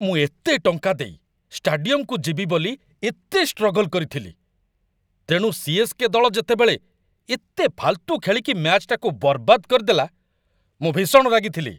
ମୁଁ ଏତେ ଟଙ୍କା ଦେଇ ଷ୍ଟାଡିୟମକୁ ଯିବି ବୋଲି ଏତେ ଷ୍ଟ୍ରଗଲ କରିଥିଲି, ତେଣୁ ସି.ଏସ୍.କେ. ଦଳ ଯେତେବେଳେ ଏତେ ଫାଲତୁ ଖେଳିକି ମ୍ୟାଚ୍‌ଟାକୁ ବରବାଦ କରିଦେଲା ମୁଁ ଭୀଷଣ ରାଗିଥିଲି ।